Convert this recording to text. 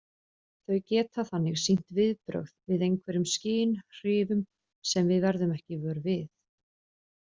Þau geta þannig sýnt viðbrögð við einhverjum skynhrifum sem við verðum ekki vör við.